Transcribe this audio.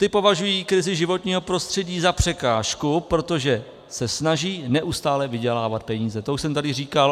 Ti považují krizi životního prostředí za překážku, protože se snaží neustále vydělávat peníze, to už jsem tady říkal.